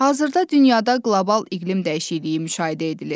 Hazırda dünyada qlobal iqlim dəyişikliyi müşahidə edilir.